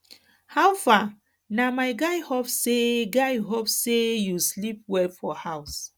how far na my guy hope sey guy hope sey you sleep well for house